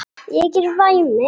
Ég er væmin.